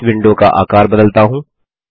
मैं इस विडों का आकार बदलता हूँ